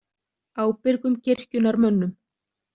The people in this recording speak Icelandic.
Ábyrgum kirkjunnar mönnum.